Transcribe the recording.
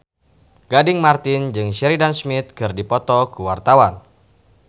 Gading Marten jeung Sheridan Smith keur dipoto ku wartawan